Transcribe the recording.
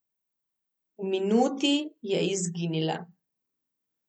V minuti je izginila.